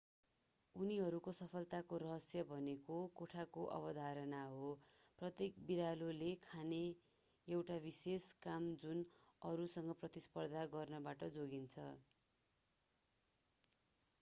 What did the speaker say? उनीहरूको सफलताको रहस्य भनेको कोठाको अवधारणा हो प्रत्येक बिरालोले राख्ने एउटा विशेष काम जुन अरूसँग प्रतिस्पर्धा गर्नबाट जोगिन्छ